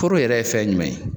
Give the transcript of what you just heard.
Poro yɛrɛ ye fɛn jumɛn ye